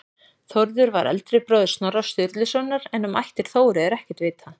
Þórður var eldri bróðir Snorra Sturlusonar en um ættir Þóru er ekkert vitað.